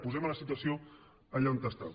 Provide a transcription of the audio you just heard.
posem la situació allà on està